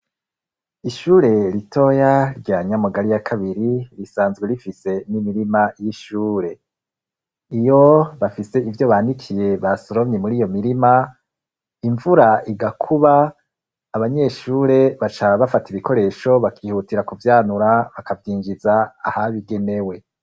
Ishure ritoya rya nyamugari ya kabiri risanzwe rifise n'imirima y'ishure iyo bafise ivyo bandikiye basoromye muri iyo mirima imvura igakuba abanyeshure baca bafata ibikoresho bakihutira kuvyanura bakavyinjiza ahabigenewe.